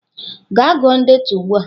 Gaa gụọ ndetu ugbu a!